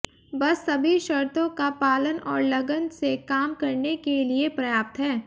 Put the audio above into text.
बस सभी शर्तों का पालन और लगन से काम करने के लिए पर्याप्त है